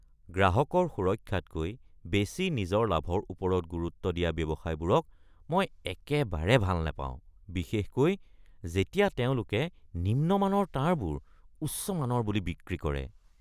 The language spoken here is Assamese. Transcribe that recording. গ্ৰাহকৰ সুৰক্ষাতকৈ বেছি নিজৰ লাভৰ ওপৰত গুৰুত্ব দিয়া ব্যৱসায়বোৰক মই একেবাৰে ভাল নাপাওঁ বিশেষকৈ যেতিয়া তেওঁলোকে নিম্নমানৰ তাঁৰবোৰ উচ্চ-মানৰ বুলি বিক্ৰী কৰে।